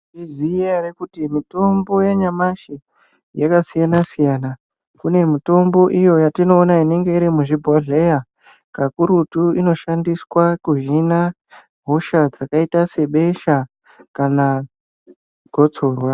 Munozviziya ere kuti mutombo yanyamashi yakasiyana siyana kune mutombo iyo yatinoona inenge iri muzvibhohleya kakurutu inoshandiswa kuhinha hosha dzakaita sebesha kana gotsorwa .